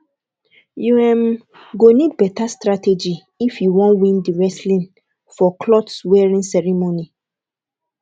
you um go need beta strategy if you wan win di wrestling for cloth wearing ceremony